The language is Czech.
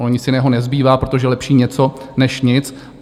Ono nic jiného nezbývá, protože lepší něco než nic.